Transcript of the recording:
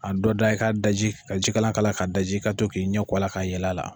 A dɔ da i k ka daji ka jikalan k'a la ka daji ka to k'i ɲɛkɔ a la k'a yɛlɛ a la.